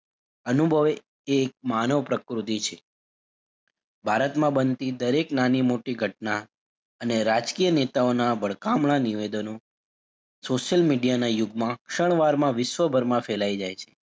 અનુભવે એ એક માનવપ્રકૃતિ છે ભારતમાં બનતી દરેક નાની - મોટી ઘટના અને રાજકીય નેતાઓનાં વળકામણા નિવેદનો social media ના યુગમાં ક્ષણ વારમાં વિશ્વભરમાં ફેલાય જાય છે.